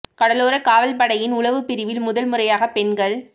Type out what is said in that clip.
கடலோர காவல் படையின் உளவுப் பிரிவில் முதல் முறையாகப் பெண்கள்